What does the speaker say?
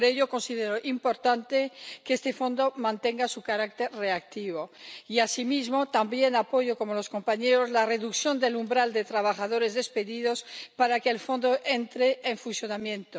Por ello, considero importante que este Fondo mantenga su carácter reactivo y asimismo también apoyo, como los compañeros, la reducción del umbral de trabajadores despedidos para que el Fondo entre en funcionamiento.